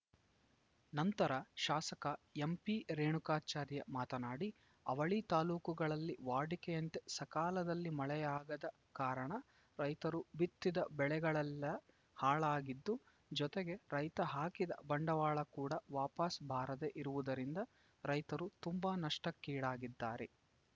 ನಂತರ ಶಾಸಕ ಎಂಪಿರೇಣುಕಾಚಾರ್ಯ ಮಾತನಾಡಿ ಅವಳಿ ತಾಲೂಕುಗಳಲ್ಲಿ ವಾಡಿಕೆಯಂತೆ ಸಕಾಲದಲ್ಲಿ ಮಳೆಯಾಗದ ಕಾರಣ ರೈತರು ಬಿತ್ತಿದ್ದ ಬೆಳೆಗಳೆಲ್ಲ ಹಾಳಾಗಿದ್ದು ಜೊತೆಗೆ ರೈತ ಹಾಕಿದ ಬಂಡವಾಳ ಕೂಡ ವಾಪಸ್‌ ಬಾರದೆ ಇರುವುದರಿಂದ ರೈತರು ತುಂಬಾ ನಷ್ಟಕೀಡಾಗಿದ್ದಾರೆ